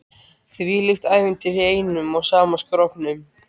Þvílíkt ævintýri í einum og sama skrokknum.